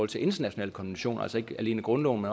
til internationale konventioner altså ikke alene grundloven